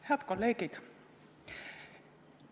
Head kolleegid!